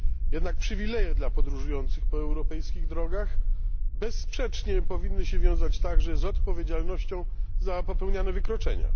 Jednak przywileje dla podróżujących po europejskich drogach bezsprzecznie powinny się wiązać także z odpowiedzialnością za popełniane wykroczenia.